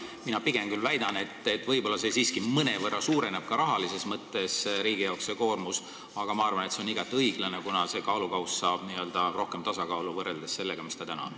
Mina pigem väidan, et võib-olla see siiski mõnevõrra suurendab ka rahalises mõttes riigi koormust, aga ma arvan, et see on igati õiglane, kuna kaalukausid saavad rohkem tasakaalu, võrreldes sellega, mis täna on.